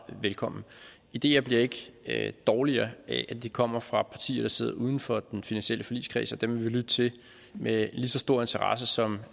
velkomne ideer bliver ikke dårligere af at de kommer fra partier der sidder uden for den finansielle forligskreds og dem vil vi lytte til med lige så stor interesse som